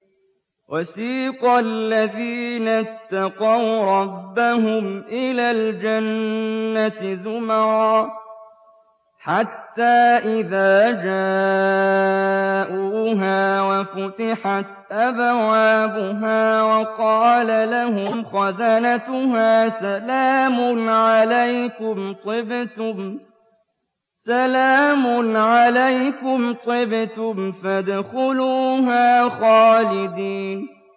وَسِيقَ الَّذِينَ اتَّقَوْا رَبَّهُمْ إِلَى الْجَنَّةِ زُمَرًا ۖ حَتَّىٰ إِذَا جَاءُوهَا وَفُتِحَتْ أَبْوَابُهَا وَقَالَ لَهُمْ خَزَنَتُهَا سَلَامٌ عَلَيْكُمْ طِبْتُمْ فَادْخُلُوهَا خَالِدِينَ